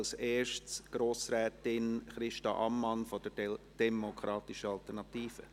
Zuerst: Grossrätin Christa Amman von der demokratischen Alternativen.